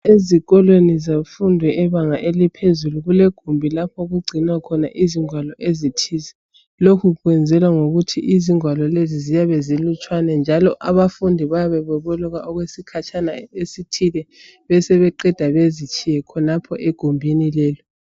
Ezikoleni zemfundo yebanga eliphezulu kulegumbi lapho okugcinwa khona ingwalo ezithize. Lokhu kwenzelwa ngokuthi izingwalo lezi ziyabe zilutshwane njalo abafundi bayabe beboleka okwesikhatshana esithile besebeqeda bazitshiye khonapha egumbini leli.